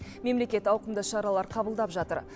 мемлекет ауқымды шаралар қабылдап жатыр